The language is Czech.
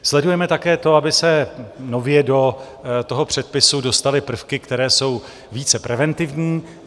Sledujeme také to, aby se nově do toho předpisu dostaly prvky, které jsou více preventivní.